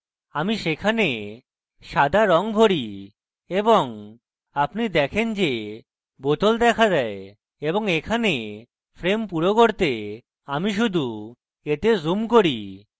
আমি সেখানে সাদা রঙ ভরি এবং আপনি দেখেন যে bottle দেখা দেয় এবং এখানে frame পুরো করতে আমি শুধু এতে zoom করি